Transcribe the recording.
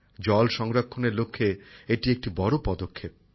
জল সংরক্ষণের লক্ষ্যে এটি একটি বড় পদক্ষেপ